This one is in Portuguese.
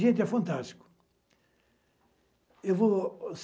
Gente, é fantástico.